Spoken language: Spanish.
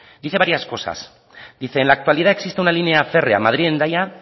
dice varias cosas dice en la actualidad existe una línea férrea madrid hendaya